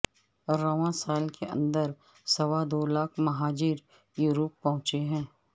رواں سال کے اندر سوا دو لاکھ مہاجر یورپ پہنچے ہیں